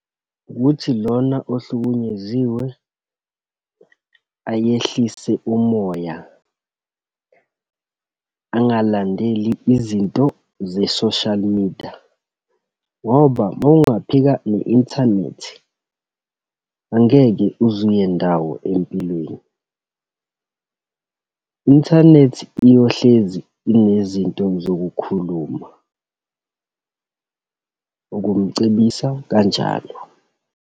Ukuthi lona ohlukunyeziwe ayehlise umoya, angalandeli izinto ze-social media. Ngoba uma ungaphika ne-inthanethi angeke uze uye ndawo empilweni. I-inthanethi iyohlezi inezinto zokukhuluma, ukumcebisa kanjalo.